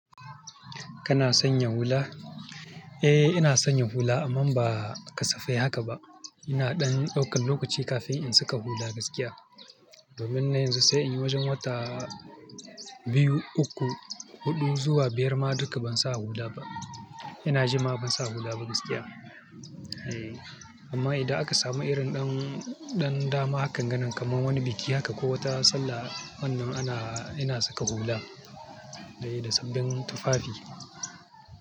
Kana sanya hula? Eh ina sanya hula amma ba kasafai haka ba. Ina ɗan ɗaukan lokaci kafin in saka hula gaskiya. Domin na yanzu sai in wajen wata biyu, uku, huɗu zuwa biyar ma duka ban sa hula ba. Ina jima ban sa hula ba gaskiya. Eh amma idan aka samu irin ɗan, ɗan dama hakanganan kamar wani biki haka ko wata sallah wannan ana, ina saka hula. Dai da sabbin tufafi.